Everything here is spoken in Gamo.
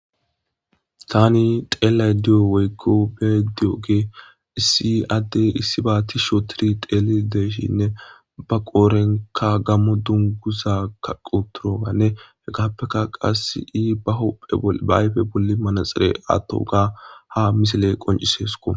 tani teelashe diyo woykko bee diyoge issi addey issi ba ti sho tiri teeli deeshinne ba qoorenka gammo dunguza kaquturoganne hegappeka qasi ahopheba ayfe bolli manaxere atto ga ha misile qonciseesuko